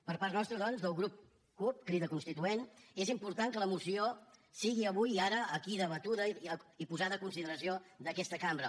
per part nostra doncs pel grup cup crida constituent és important que la moció sigui avui i ara aquí debatuda i posada en consideració d’aquesta cambra